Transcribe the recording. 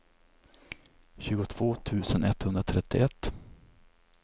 tjugotvå tusen etthundratrettioett